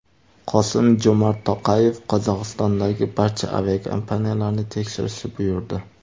Qosim-Jo‘mart To‘qayev Qozog‘istondagi barcha aviakompaniyalarni tekshirishni buyurdi .